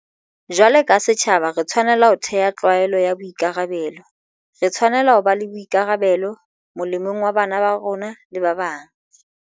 Jwalo ka setjhaba, re tshwanela ho thea tlwaelo ya ho ba le boikarabelo. Re tshwanela ho ba le bo ikarabelo, molemong wa bana ba rona le ba bang.